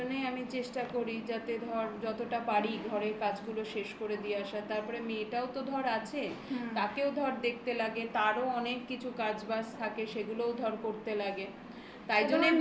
তার জন্যই আমি চেষ্টা করি যাতে ধর যতটা পারি ঘরের কাজগুলো শেষ করে দিয়ে আসা. তারপরে তারপরে মেয়েটাও তো ধর আছে. তাকেও ধর দেখতে লাগে. তারও অনেক কিছু কাজ বাজ থাকে. সেগুলোও ধর করতে লাগে তাই জন্যে বলছি